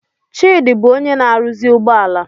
Chidi bụ onye na-arụzi ụgbọ ala